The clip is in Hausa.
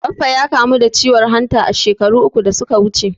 Baffa ya kamu da ciwon hanta shekaru uku da suka wuce.